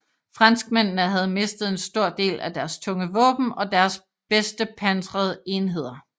Franskmændene havde mistet en stor del af deres tunge våben og deres bedste pansrede enheder